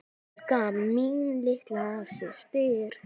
Helga mín litla systir.